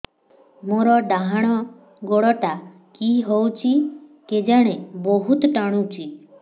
ମୋର୍ ଡାହାଣ୍ ଗୋଡ଼ଟା କି ହଉଚି କେଜାଣେ ବହୁତ୍ ଟାଣୁଛି